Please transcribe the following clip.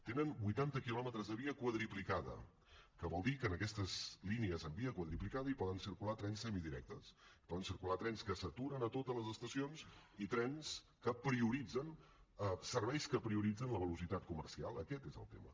tenen vuitanta quilòmetres de via quadruplicada que vol dir que en aquestes línies en via quadruplicada hi poden circular trens semidirectes hi poden circular trens que s’aturen a totes les estacions i serveis que prioritzen la velocitat comercial aquest és el tema